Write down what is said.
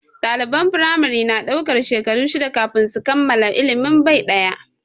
Ɗaliban firamare na daukar shekaru shida kafin su kammala ilimin bai ɗaya.